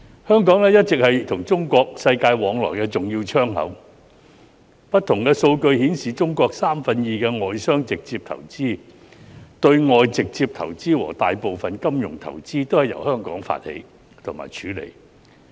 香港一直是中國與世界往來的重要窗口，不同數據顯示，中國約有三分之二的外商直接投資、對外直接投資和大部分金融投資均由香港發起及處理。